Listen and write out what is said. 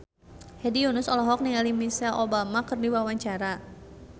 Hedi Yunus olohok ningali Michelle Obama keur diwawancara